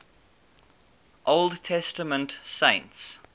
old testament saints